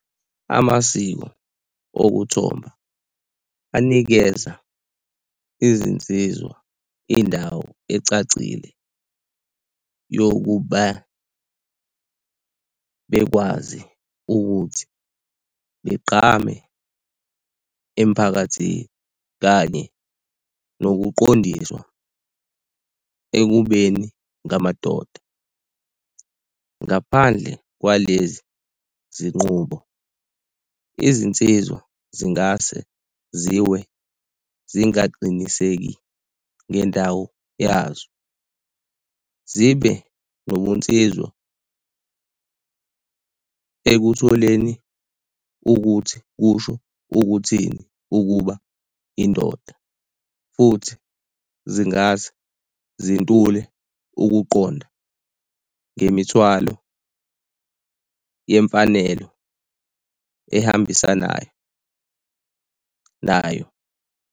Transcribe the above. Amasiko okuthombha anikeza izinsizwa indawo ecacile yokuba bekwazi ukuthi begqame emphakathini kanye nokuqondiswa ekubeni ngamadoda. Ngaphandle kwalezi zinqubo, izinsizwa zingase ziwe singaqiniseki ngendawo yazo zibe nobunsizwa ekutholeni ukuthi kusho ukuthini ukuba indoda, futhi zingase zintule ukuqonda ngemithwalo yemfanelo ahambisanayo nayo.